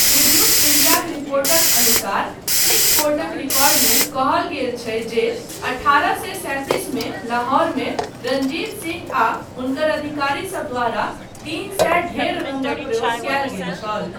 Tribune इंडियाक रिपोर्टक अनुसार सिख कोर्टक रिकॉर्डमे कहल गेल छै जे अठारह सए सैंतीस मे लाहौरमे रणजीत सिंह आ हुनकर अधिकारीसब द्वारा तीन सए ढेर रङ्गक प्रयोग कयल गेल छल।